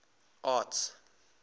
arts